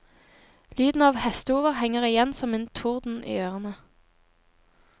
Lyden av hestehover henger igjen som en torden i ørene.